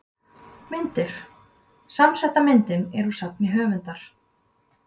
Myndir: Samsetta myndin er úr safni höfundar.